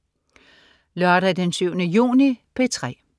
Lørdag den 7. juni - P3: